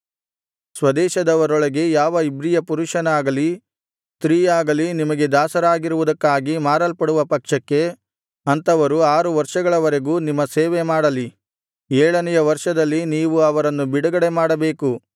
ಸ್ವದೇಶದವರೊಳಗೆ ಯಾವ ಇಬ್ರಿಯ ಪುರುಷನಾಗಲಿ ಸ್ತ್ರೀಯಾಗಲಿ ನಿಮಗೆ ದಾಸರಾಗಿರುವುದಕ್ಕಾಗಿ ಮಾರಲ್ಪಡುವ ಪಕ್ಷಕ್ಕೆ ಅಂಥವರು ಆರು ವರ್ಷಗಳವರೆಗೂ ನಿಮ್ಮ ಸೇವೆ ಮಾಡಲಿ ಏಳನೆಯ ವರ್ಷದಲ್ಲಿ ನೀವು ಅವರನ್ನು ಬಿಡುಗಡೆ ಮಾಡಬೇಕು